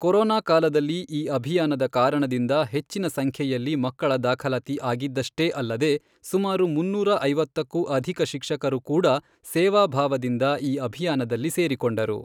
Corona ಕಾಲದಲ್ಲಿ ಈ ಅಭಿಯಾನದ ಕಾರಣದಿಂದ ಹೆಚ್ಚಿನ ಸಂಖ್ಯೆಯಲ್ಲಿ ಮಕ್ಕಳ ದಾಖಲಾತಿ ಆಗಿದ್ದಷ್ಟೇ ಅಲ್ಲದೆ ಸುಮಾರು ಮುನ್ನೂರ ಐವತ್ತಕ್ಕೂ ಅಧಿಕ ಶಿಕ್ಷಕರು ಕೂಡ ಸೇವಾ ಭಾವದಿಂದ ಈ ಅಭಿಯಾನದಲ್ಲಿ ಸೇರಿಕೊಂಡರು.